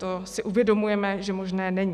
To si uvědomujeme, že možné není.